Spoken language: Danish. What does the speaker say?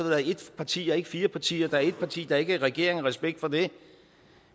været ét parti og ikke fire partier der er ét parti der ikke er regering respekt for det